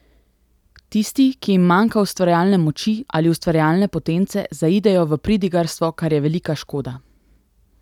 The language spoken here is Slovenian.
Tisti, ki jim manjka ustvarjalne moči ali ustvarjalne potence, zaidejo v pridigarstvo, kar je velika škoda.